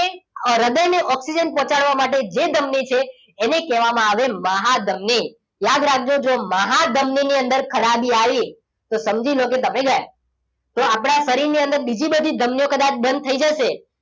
હૃદયને ઓક્સિજન પહોંચાડવા માટે જે ધમની છે એને એને કહેવામાં આવે મહાધમની યાદ રાખજો જો મહાધમની ની અંદર ખરાબી આવી તો સમજી લો કે તમે ગયા તો આપણા શરીરની અંદર બીજી બધી ધમનીઓ કદાચ બંધ થઈ જશે